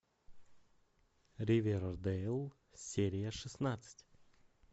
ривердейл серия шестнадцать